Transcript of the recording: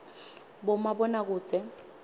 bomabonakudze